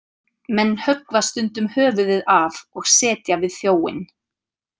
Menn höggva stundum höfuðið af og setja við þjóinn.